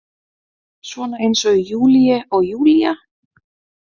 Svona eins og Julie og Julia?